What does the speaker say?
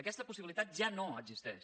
aquesta possibilitat ja no existeix